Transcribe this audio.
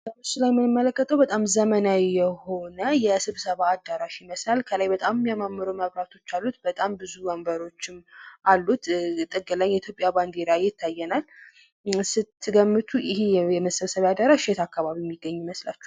በምስሉ ላይ የምንመለከተው በጣም ዘመናዊ የሆነ የስብሰባ አዳራሽ ይመስላል። ከላይ በጣም የሚያማምሩ መብራቶች አሉት። በጣም ብዙ ወንበሮችም አሉት። ጥግ ላይ የኢትዮጵያ ባንዲራም ይታየናል። ስትገምቱ ይኸ የመሰብሰቢያ አዳራሽ የት አካባቢ የሚገኝ ይመስላችኋል?